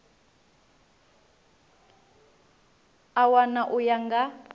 a wana u ya nga